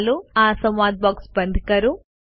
ચાલો આ સંવાદ બોક્સ બંધ કરીએ